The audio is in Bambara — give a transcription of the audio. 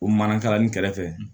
O manakalanni kɛrɛfɛ